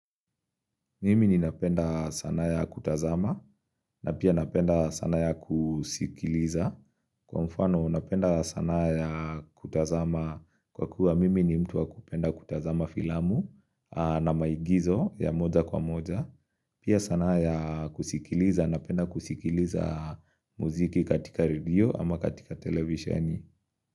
Mimi ninapenda sanaa ya kutazama na pia napenda sanaa ya kusikiliza. Kwa mfano napenda sanaa ya kutazama kwa kuwa mimi ni mtu wa kupenda kutazama filamu na maigizo ya moja kwa moja Pia sanaa ya kusikiliza napenda kusikiliza muziki katika redio ama katika televisioni.